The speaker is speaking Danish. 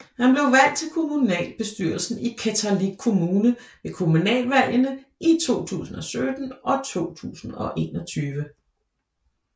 Han blev valgt til kommunalbestyrelsen i Qeqertalik Kommune ved kommunalvalgene i 2017 og 2021